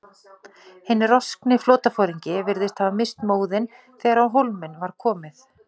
Hinn roskni flotaforingi virðist hafa misst móðinn, þegar á hólminn var komið.